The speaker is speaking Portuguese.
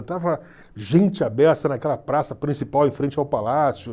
Estava gente a beça naquela praça principal em frente ao palácio.